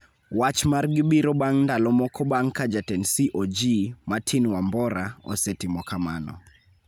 Wach margi biro bang' ndalo moko bang' ka jatend CoG, Martin Wambora, osetimo kamano